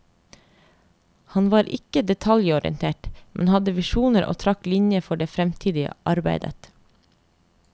Han var ikke detaljorientert, men hadde visjoner og trakk linjer for det fremtidige arbeidet.